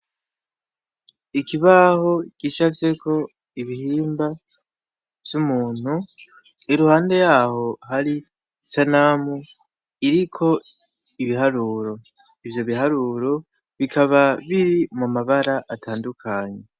Ikibaho gicafyeko ibihimba vy'umuntu, iruhande yaho hari isanamu iriko ibiharuro. Ivyo biharuro bikaba biri mu mabara atandukanye.